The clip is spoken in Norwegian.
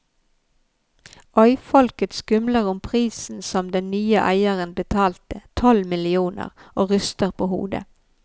Øyfolket skumler om prisen som den nye eieren betalte, tolv millioner, og ryster på hodet.